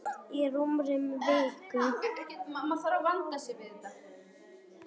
Fyrir rúmri viku.